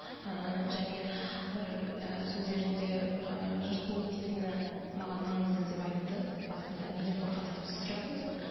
ііі және бір і сөздерінде ыыы жұрт не дейтіні маған маңызды деп айтты басында неден қорқасыз деп сіз сұрадыңыз ғой